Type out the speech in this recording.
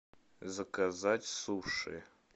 заказать суши